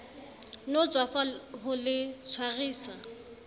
no tswafa ho le tshwarisa